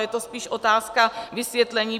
Je to spíše otázka vysvětlení.